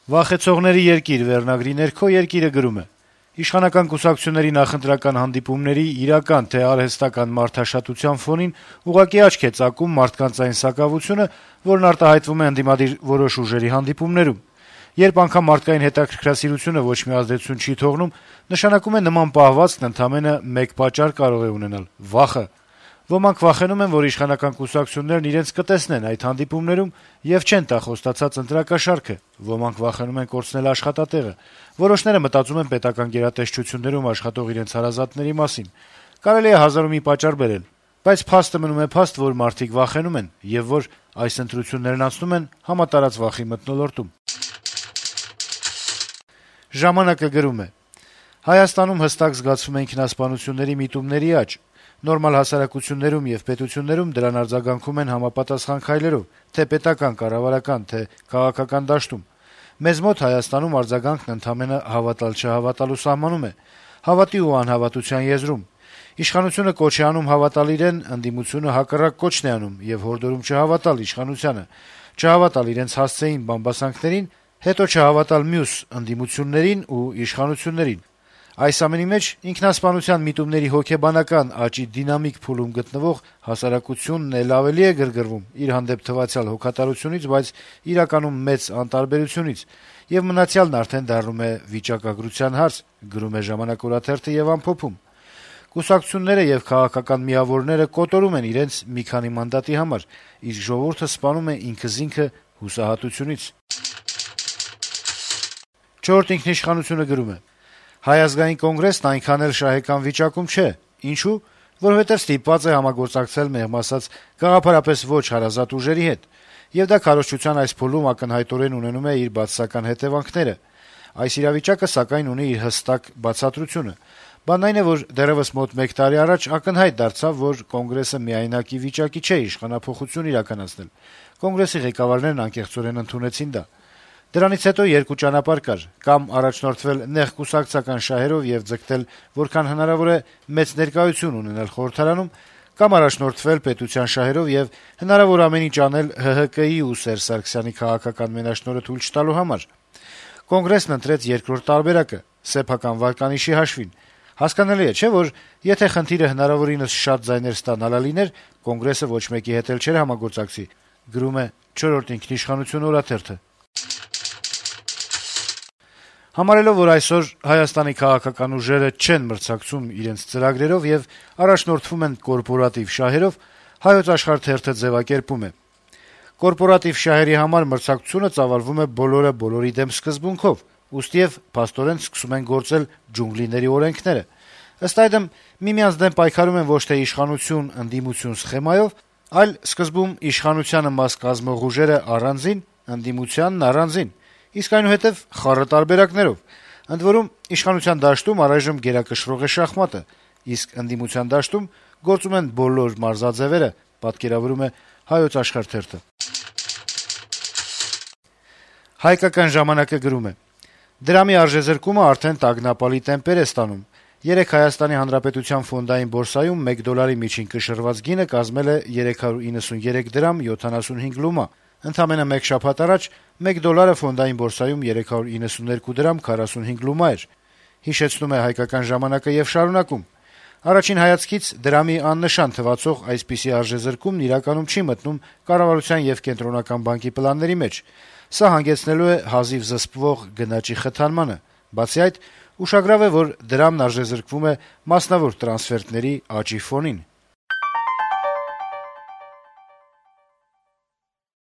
«Վախեցողների երկիր» խորագրի ներքո գրում է. - «Իշխանական կուսակցությունների նախընտրական հանդիպումների իրական թե արհեստական մարդաշատության ֆոնին ուղղակի աչք է ծակում մարդկանց այն սակավությունը, որն արտահայտվում է ընդդիմադիր որոշ ուժերի հանդիպումներում: Երբ անգամ մարդկային հետաքրքրասիրությունը ոչ մի ազդեցություն չի թողնում, նշանակում է` նման պահվածքն ընդամենը մեկ պատճառ կարող է ունենալ՝ վախը: Ոմանք վախենում են, որ իշխանական կուսակցություններն իրենց կտեսնեն այդ հանդիպումներում եւ չեն տա խոստացած ընտրակաշառքը, ոմանք վախենում են կորցնել աշխատատեղը, որոշները մտածում են պետական գերատեսչություններում աշխատող իրենց հարազատների մասին... Կարելի է հազար ու մի պատճառ բերել, բայց փաստը մնում է փաստ, որ մարդիկ վախենում են եւ որ այս ընտրություններն անցնում են համատարած վախի մթնոլորտում»: «Ժամանակ»-ը գրում է. -« Հայաստանում հստակ զգացվում է ինքնասպանությունների միտումների աճ: Նորմալ հասարակություններում եւ պետություններում դրան արձագանքում են համապատասխան քայլերով թե՛ պետական-կառավարական, թե՛ քաղաքական դաշտում: Մեզ մոտ` Հայաստանում, արձագանքը ընդամենը հավատալ-չհավատալու սահմանում է, հավատի ու անհավատության եզրում: Իշխանությունը կոչ է անում հավատալ իրեն, ընդդիմությունը հակառակ կոչն է անում եւ հորդորում չհավատալ իշխանությանը, չհավատալ իրենց հասցեին բամբասանքներին, հետո չհավատալ մյուս ընդդիմություններին ու իշխանություններին: Այս ամենի մեջ, ինքնասպանության միտումների հոգեբանական աճի դինամիկ փուլում գտնվող հասարակությունն է՛լ ավելի է գրգռվում իր հանդեպ թվացյալ հոգատարությունից, բայց իրականում մեծ անտարբերությունից, եւ մնացյալն արդեն դառնում է վիճակագրության հարց»: «Կուսակցությունները եւ քաղաքական միավորները կոտորում են իրար մի քանի մանդատի համար, իսկ ժողովուրդը սպանում է ինքզինքը հուսահատությունից», - ամփոփում է թերթը: «Չորրորդ ինքնիշխանություն»-ը գրում է. - «Հայ ազգային կոնգրեսն այնքան էլ շահեկան վիճակում չէ: Ինչո՞ւ: Որովհետեւ ստիպված է համագործակցել, մեղմ ասած` գաղափարապես ոչ հարազատ ուժերի հետ, եւ դա քարոզչության այս փուլում ակնհայտորեն ունենում է իր բացասական հետեւանքները: Այս իրավիճակը, սակայն, ունի իր հստակ բացատրությունը: Բանն այն է, որ դեռեւս մոտ մեկ տարի առաջ ակնհայտ դարձավ, որ Կոնգրեսը միայնակ ի վիճակի չէ իշխանափոխություն իրականացնել: Կոնգրեսի ղեկավարներն անկեղծորեն ընդունեցին դա: Դրանից հետո երկու ճանապարհ կար. կամ առաջնորդվել «նեղ կուսակցական շահերով» եւ ձգտել որքան հնարավոր է մեծ ներկայություն ունենալ խորհրդարանում, կամ առաջնորդվել պետության շահերով եւ հնարավոր ամեն ինչ անել` ՀՀԿ-ի ու Սերժ Սարգսյանի քաղաքական մենաշնորհը թույլ չտալու համար: Կոնգրեսն ընտրեց երկրորդ տարբերակը` սեփական վարկանիշի հաշվին: Հասկանալի է, չէ՞, որ եթե խնդիրը հնարավորինս շատ ձայներ ստանալը լիներ, Կոնգրեսը ոչ մեկի հետ էլ չէր համագործակցի»: Համարելով, որ այսօր Հայաստանի քաղաքական ուժերը չեն մրցակցում իրենց ծրագրերով եւ առաջնորդվում են կորպորատիվ շահերով` «Հայոց Աշխարհ» թերթը ձեւակերպում է. - «Կորպորատիվ շահերի համար մրցակցությունը ծավալվում է «բոլորը՝ բոլորի դեմ» սկզբունքով, ուստիեւ փաստորեն սկսում են գործել ջունգլիների օրենքները։ Ըստ այդմ՝ միմյանց դեմ պայքարում են ոչ թե իշխանություն-ընդդիմություն սխեմայով, այլ սկզբում՝ իշխանությանը մաս կազմող ուժերը՝ առանձին, ընդդիմությանն՝ առանձին, իսկ այնուհետեւ՝ խառը տարբերակներով։ Ընդ որում՝ իշխանության դաշտում առայժմ գերակշռող է շախմատը, իսկ ընդդիմության դաշտում գործում են բոլոր «մարզաձեւերը»»։ «Հայկական ժամանակ»-ը գրում է. - «Դրամի արժեզրկումը արդեն տագնապալի տեմպեր է ստանում: Երեկ ՀՀ ֆոնդային բորսայում մեկ դոլարի միջին կշռված գինը կազմել է 393 դրամ 75 լումա: Ընդամենը մեկ շաբաթ առաջ մեկ դոլարը ֆոնդային բորսայում 392 դրամ 45 լումա էր: Առաջին հայացքից դրամի` աննշան թվացող այսպիսի արժեզրկումն իրականում չի մտնում կառավարության եւ Կենտրոնական բանկի պլանների մեջ: Սա հանգեցնելու է հազիվ զսպվող գնաճի խթանմանը: Բացի այդ` ուշագրավ է, որ դրամն արժեզրկվում է մասնավոր տրանսֆերտների աճի ֆոնին»: